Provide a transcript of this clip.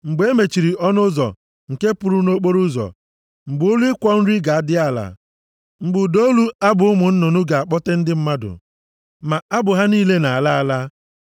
mgbe e mechiri ọnụ ụzọ nke pụrụ nʼokporoụzọ, mgbe olu ịkwọ nri ga-adị ala, mgbe ụda olu abụ ụmụ nnụnụ ga-akpọte ndị mmadụ, ma abụ ha niile na-ala ala,